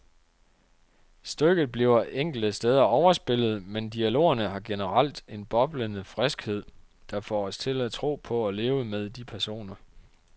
Stykket bliver enkelte steder overspillet, men dialogerne har generelt en boblende friskhed, der får os til at tro på og leve med de personer.